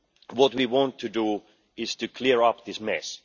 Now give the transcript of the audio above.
What do we want to do is to clear up this mess.